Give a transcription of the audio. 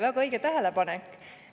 Väga õige tähelepanek.